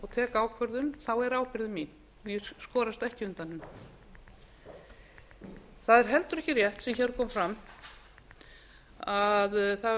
tek ákvörðun er ábyrgðin mín og ég skorast ekki undan henni það er heldur ekki rétt sem hér kom fram að það var verið að